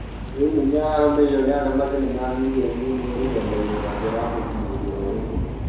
rĩu Munyi ararũmĩrĩrwo nĩ andũ makĩria wa mirioni imwe rũrenda-inĩ rwake rwa ũkĩnyanĩria rwa Instagram